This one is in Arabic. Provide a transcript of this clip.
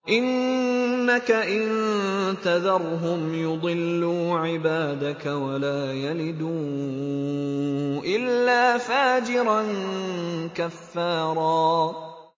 إِنَّكَ إِن تَذَرْهُمْ يُضِلُّوا عِبَادَكَ وَلَا يَلِدُوا إِلَّا فَاجِرًا كَفَّارًا